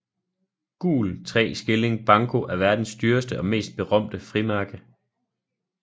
Gul tre skilling banco er verdens dyreste og mest berømte frimærke